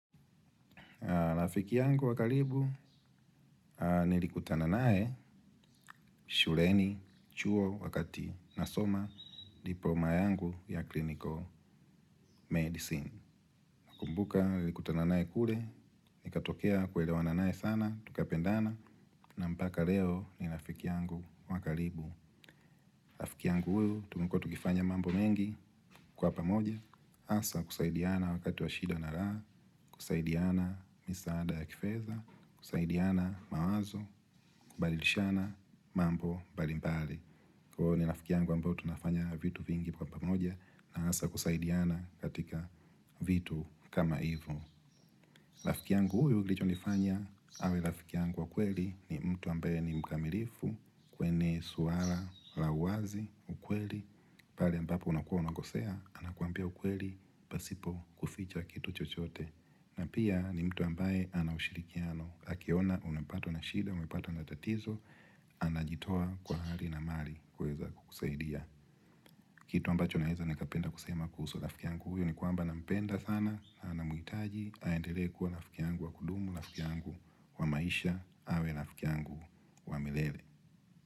Rafiki yangu wakalibu nilikutana nae, shureni, chuo, wakati nasoma diploma yangu ya clinical medicine. Nakumbuka, likutananae kule, nikatokea kwelewana nae sana, tukapendana na mpaka leo, ni rafiki yangu wakalibu. Rafiki yangu uu, tumekua tukifanya mambo mengi, kwa pamoja, hasa, kusaidiana wakati wa shida na raha, kusaidiana, misaada ya kifedha, kusaidiana mawazo, balilishana mambo, mbalimbali. Kwa hu ni lafikiangu ambao tunafanya vitu vingi kwa pamoja, na hasa kusaidiana katika vitu, kama hivo. Rafiki yangu huyu kilichonifanya awe rafiki yangu wa kweli ni mtu ambaye ni mkamilifu kwenye suala la uwazi ukweli pale ambapo unakua unakosea anakuambia ukweli pasipo kuficha kitu chochote. Na pia ni mtu ambaye ana ushirikiano akiona unapatwa na shida, umepatwa na tatizo. Anajitoa kwa hali na mali kuweza kukusaidia. Kitu ambacho naweza nikapenda kusema kuhusu rafiki yangu huyo ni kwamba nampenda sana. Na namuhitaji, aendelee kuwa rafiki yangu wa kudumu, rafiki yangu wa maisha. Awe rafiki yangu wa milele.